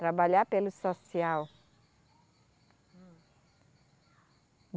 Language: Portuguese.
Trabalhar pelo social. Hum